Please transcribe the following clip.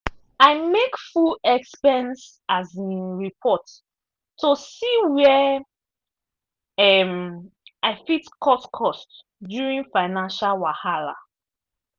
i make full expense um report to see where um i fit cut cost during financial wahala.